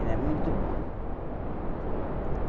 Era muito bom.